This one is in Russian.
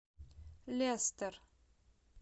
лестер